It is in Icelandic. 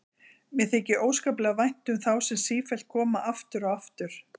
Mér þykir óskaplega vænt um þá sem sífellt koma aftur og aftur.